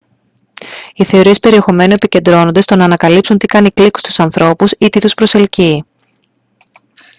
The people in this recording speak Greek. οι θεωρίες περιεχομένου επικεντρώνονται στο να ανακαλύψουν τι κάνει κλικ στους ανθρώπους ή τι τους προσελκύει